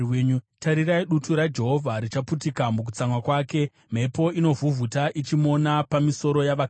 Tarirai, dutu raJehovha richaputika mukutsamwa kwake, mhepo inovhuvhuta ichimona pamisoro yavakaipa.